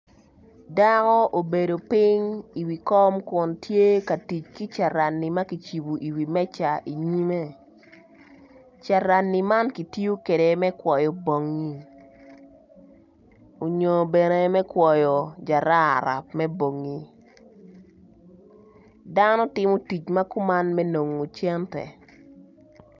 Dako obedo piny kun tye ka tic ki carani ma kicibo iwi meja inyimme carani man kitiyo kwede me kwoyo bongngi oyo bene me kwoyo jarara me bongngi dano timo tic ma kuman me nongo cene.